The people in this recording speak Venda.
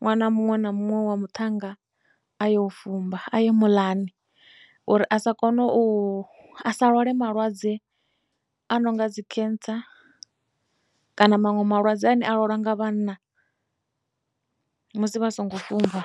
ṅwana muṅwe na muṅwe wa muṱhannga a yo u fumba a yi muḽani uri a sa kona u sa lwale malwadze a no nga dzi cancer kana maṅwe malwadze ane a lwalwa nga vhanna musi vha songo fhumba.